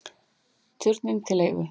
Turninn til leigu